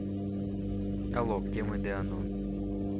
алло где мой дэанон